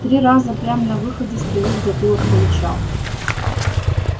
три раза прям на выходе стрелу в затылок получал